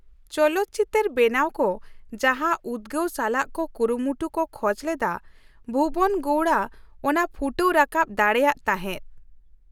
ᱪᱚᱞᱚᱛ ᱪᱤᱛᱟᱹᱨ ᱵᱮᱱᱟᱣ ᱠᱚ ᱡᱟᱦᱟᱸ ᱩᱫᱜᱟᱹᱣ ᱥᱟᱞᱟᱜ ᱠᱚ ᱠᱩᱨᱩᱢᱩᱴᱩ ᱠᱚ ᱠᱷᱚᱡ ᱞᱮᱫᱟ ᱵᱷᱩᱵᱚᱱ ᱜᱚᱣᱲᱟ ᱚᱱᱟᱣ ᱯᱷᱩᱴᱟᱹᱣ ᱨᱟᱠᱟᱵ ᱫᱟᱲᱮᱭᱟᱜ ᱛᱟᱦᱮᱸ ᱾